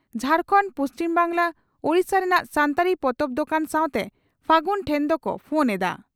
ᱡᱷᱟᱲᱠᱷᱚᱸᱰ ᱯᱩᱪᱷᱤᱢ ᱵᱟᱝᱜᱽᱞᱟ ᱳᱰᱤᱥᱟ ᱨᱮᱱᱟᱜ ᱥᱟᱱᱛᱟᱲᱤ ᱯᱚᱛᱚᱵ ᱫᱚᱠᱟᱱ ᱥᱟᱣᱛᱮ ᱯᱷᱟᱹᱜᱩᱱ ᱴᱷᱮᱱ ᱫᱚᱠᱚ ᱯᱷᱳᱱ ᱮᱫᱟ ᱾